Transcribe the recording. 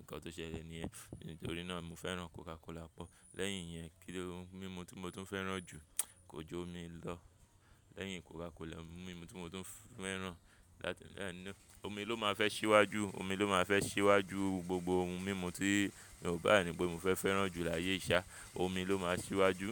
nǹkan tó ṣẹlẹ̀ ni ẹ́. Nítorí náà mo fẹ́ràn Coca Cola pọ̀. Lẹ́yìn yẹn, kí ni ohun mímu tí mo tún fẹ́ràn jù? Kò ju omi lọ. Lẹ́yìn Coca Cola, ohun mímu tí mo tún fẹ́ràn láti, omi ló máa fẹ́ ṣíwájú, omi ló máa fẹ́ ṣíwájú gbogbo ohun mímu tí, mi o ba ni pé mo fẹ́ fẹ́ràn jù láyé yi ṣá, omi ló máa ṣíwájú.